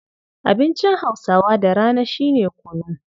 Abincin Hausawa da rana shi ne kunu.